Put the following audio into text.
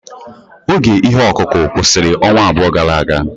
Oge ihe ọkụkụ kwụsịrị ọnwa abụọ gara aga.